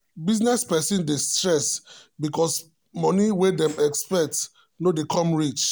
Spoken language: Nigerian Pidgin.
business person dey stress because money wey dem expect no dey come reach.